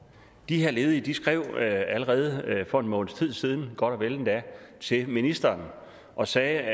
de her ledige skrev allerede for en måneds tid siden godt og vel endda til ministeren og sagde